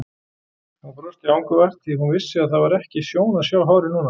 Hún brosti angurvært því hún vissi að það var ekki sjón að sjá hárið núna!